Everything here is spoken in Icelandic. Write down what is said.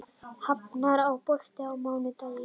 Hafnar, er bolti á mánudaginn?